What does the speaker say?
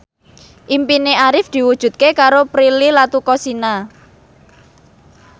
impine Arif diwujudke karo Prilly Latuconsina